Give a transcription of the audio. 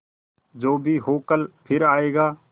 जो भी हो कल फिर आएगा